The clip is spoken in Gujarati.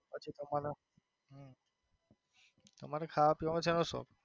પછી તમાનો ખાવા પીવાનો સેનો શોખ?